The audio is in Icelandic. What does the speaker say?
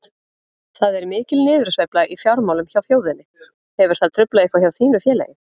Það er mikil niðursveifla í fjármálum hjá þjóðinni, hefur það truflað eitthvað hjá þínu félagi?